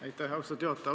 Aitäh, austatud juhataja!